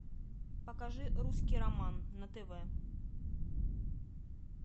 покажи русский роман на тв